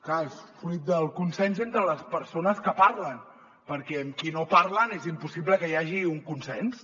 clar és fruit del consens entre les persones que parlen perquè amb qui no parlen és impossible que hi hagi un consens